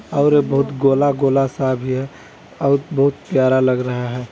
और बहुत गोला-गोला सा भी है और बहुत प्यारा लग रहा है।